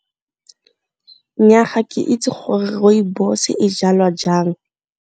Nnyaa, ga ke itse gore Rooibos e jalwa jang.